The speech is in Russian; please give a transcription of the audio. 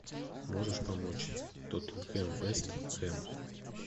можешь помочь тоттенхэм вест хэм